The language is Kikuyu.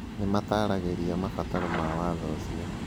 Nĩ mataaragĩria mabataro ma Watho ũcio.